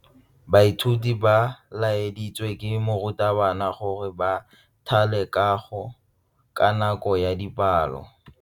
Baithuti ba laeditswe ke morutabana gore ba thale kagô ka nako ya dipalô.